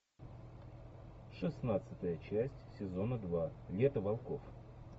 шестнадцатая часть сезона два лето волков